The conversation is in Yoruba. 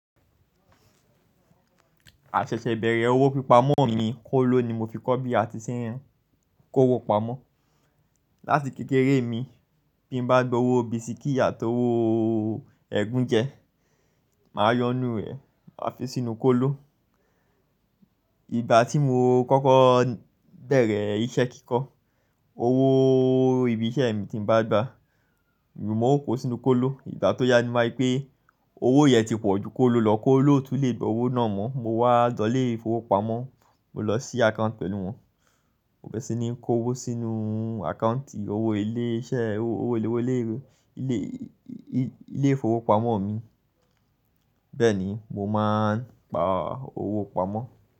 Àṣẹṣẹ bẹ̀rẹ̀ owó pípa ọmọ mi ni kólo ni mo fi kọ́ bí a ti ṣe ń kó owó pamọ́. Láti kékeré mi, bí n bá gba owó bisikí àti owó ẹ́gún jẹ, màá yo n nú rẹ̀ màá fi sínú kólo. Ìgbà tí mo kọ́kọ́ bẹ̀rẹ̀ iṣẹ́ kíkọ, owó ibi iṣẹ́ mi tí n bá gba, mo kó sínú kólo. Ìgbà tó yá ni wári pé owó yẹn ti pọ̀ ju kólo lọ, kólo ò tún lè gba owó náà mọ́. Mo wá lọ̀lé ìfowópamọ́, mo lọ ṣí àkáǹtì pẹ̀lú wọn. Mo bẹ́rẹ́ sí ní kó owó sínú àkáǹtì owó ilé iṣẹ́, owó ilé ìfowópamọ́ mi. Bẹ́ẹ̀ ni, mo máa ń pa owó pamọ́